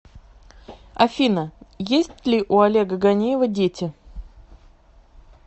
афина есть ли у олега ганеева дети